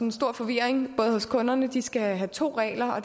en stor forvirring både hos kunderne de skal have to regler og